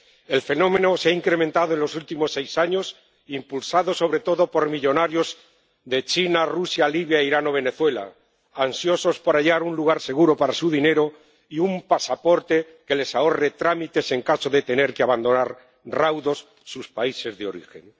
El fenómeno se ha incrementado en los últimos seis años, impulsado sobre todo por millonarios de China, Rusia, Libia, Irán o Venezuela ansiosos por hallar un lugar seguro para su dinero y un pasaporte que les ahorre trámites en caso de tener que abandonar raudos sus países de origen.